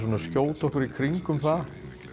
að skjóta okkur í kringum það